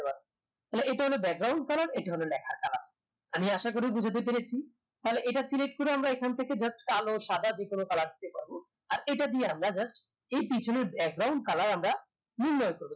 তাহলে ইটা হলো colour ইটা হলো লেখার colour আমি আশা করি বুজাতে পেরেছি তাহলে এটা select করে আমরা এখন থেকে just কালো সাদা যেকোনো colour দিতে পারবো আর এটা দিয়ে আমরা just এই পিছনের colour আমরা নির্ণয় করবো